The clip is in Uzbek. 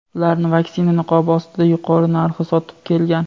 ularni vaksina niqobi ostida yuqori narxda sotib kelgan.